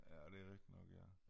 Ja det rigitig nok ja